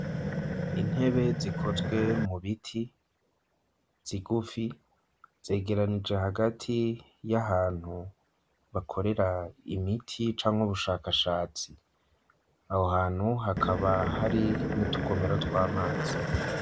Intebe zikozwe mu biti, zigufi, zegeranije hagati y'ahantu bakorera imiti canke ubushakashatsi; aho hantu hakaba hari n'utugomero tw'amazi.